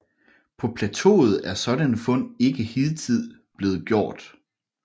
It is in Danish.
På plateauet er sådanne fund ikke hidtil blevet gjort